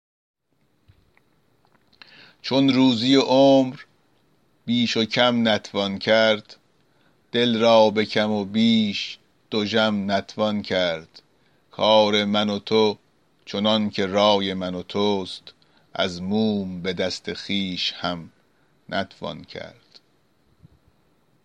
چون روزی و عمر بیش و کم نتوان کرد دل را به کم و بیش دژم نتوان کرد کار من و تو چنان که رای من و توست از موم به دست خویش هم نتوان کرد